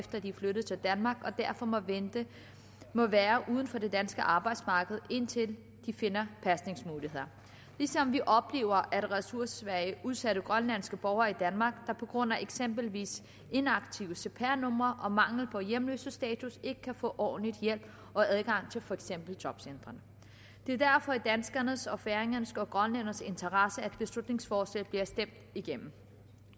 at de er flyttet til danmark og derfor må vente og være uden for det danske arbejdsmarked indtil de finder pasningsmuligheder vi oplever ressourcesvage udsatte grønlandske borgere i danmark der på grund af eksempelvis inaktive cpr numre og mangel på hjemløsestatus ikke kan få ordentlig hjælp og adgang til for eksempel jobcentrene det er derfor i danskernes og færingernes og grønlændernes interesse at beslutningsforslaget bliver stemt igennem